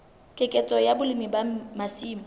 keketseho ya boleng ba masimo